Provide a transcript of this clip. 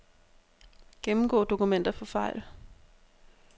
Gennemgå dokumenter for fejl.